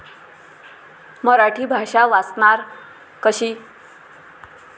मराठी भाषा 'वाचणार' कशी?